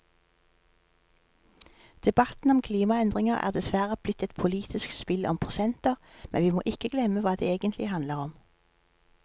Debatten om klimaendringer er dessverre blitt et politisk spill om prosenter, men vi må ikke glemme hva det egentlig handler om.